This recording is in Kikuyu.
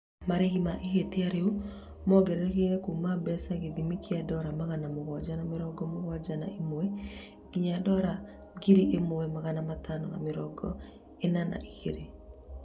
Marĩhi ma ihĩtia rĩu mongererekete Kuma mbeca ithimi kia dola magana mũgwanja ma mĩrongo mũgwanja na ĩmwe nginyagia dola ngiri imwe magana matano ma mĩrongo ĩna na igĩrĩ